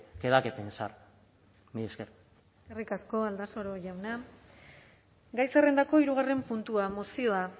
que da que pensar mila esker eskerrik asko aldasoro jauna gai zerrendako hirugarren puntua mozioa